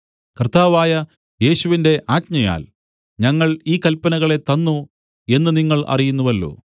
കർത്താവായ യേശുവിന്റെ ആജ്ഞയാൽ ഞങ്ങൾ ഈ കല്പനകളെ തന്നു എന്നു നിങ്ങൾ അറിയുന്നുവല്ലോ